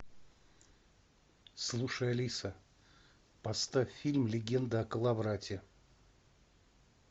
слушай алиса поставь фильм легенда о коловрате